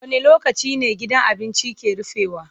Wane lokaci ne gidan abincin ke rufewa?